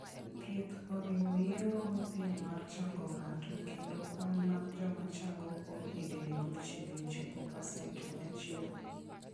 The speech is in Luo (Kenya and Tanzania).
Thieth oriwo yeng'o mapiyo mar chango ng'ato, kendo kwan mar joma chango kuom higinigo chiegni chopo pasent 100.